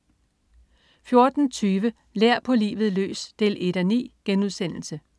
14.20 Lær på livet løs 1:9*